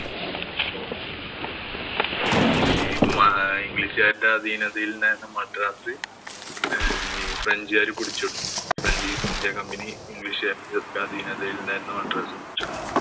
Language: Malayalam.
ഈ മ ഇംഗ്ലീഷുകാരുടെ അധീനതയിലായിരുന്ന മദ്രാസ് ഏർ ഫ്രഞ്ചുകാര് പിടിച്ചെടുത്തു. French -East India Company ഇംഗ്ലീഷുകാരുടെ അധീനതയിലായിരുന്ന മദ്രാസ് പിടിച്ചെടുത്തു.